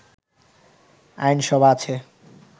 আইনসভা আছে